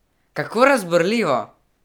Kako razburljivo!